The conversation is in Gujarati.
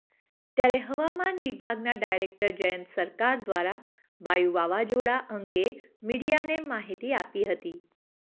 ત્યારે હવામાન વિભાગના ડાયરેક્ટર જયંત સરકાર દ્વારા વાયુ વાવાઝોડા આંગે મીડિયાને માહિતી આપી હતી